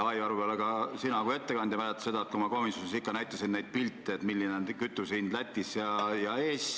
Võib-olla ka sina mäletad seda, kui ma komisjonis näitasin pilte, milline on kütuse hind Lätis ja milline Eestis.